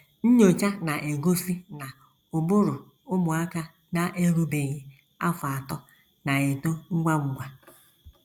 Nnyocha na - egosi na ụbụrụ ụmụaka na - erubeghị afọ atọ na - eto ngwa ngwa.